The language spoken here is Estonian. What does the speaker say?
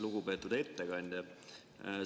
Lugupeetud ettekandja!